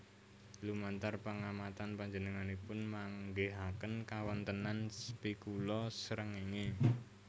Lumantar pangamatan panjenenganipun manggihaken kawontenan spikula srengéngé